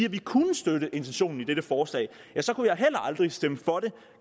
at vi kunne støtte intentionen i dette forslag så kunne jeg heller aldrig stemme for det